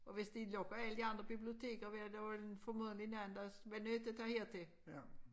Og hvis de lukker alle de andre biblioteker vil da formodentlig nogen andre også være nødt til at tage her til